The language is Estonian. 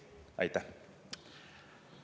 Aitäh!